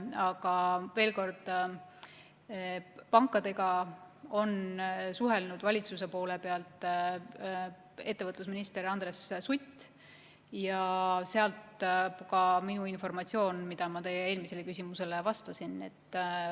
Aga veel kord, pankadega on suhelnud valitsuse poole pealt ettevõtlusminister Andres Sutt ja sealt pärineb ka informatsioon, mida ma teie eelmisele küsimusele vastates edastasin.